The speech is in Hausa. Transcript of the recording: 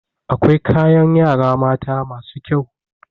Akwai kayan yara mata masu kyau.